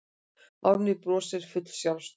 Árný brosir full sjálfstrausts.